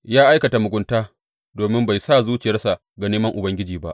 Ya aikata mugunta domin bai sa zuciyarsa ga neman Ubangiji ba.